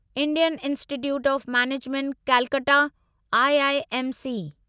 Indian institute of management Calcutta IIMC